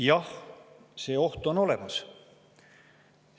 Jah, see oht on olemas.